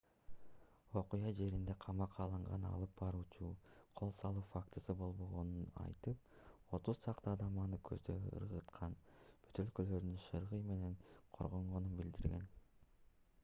окуя жеринде камакка алынган алып баруучу кол салуу фактысы болбогонун айтып отуз чакты адам аны көздөй ыргыткан бөтөлкөлөрдөн шыргый менен коргонгонун билдирген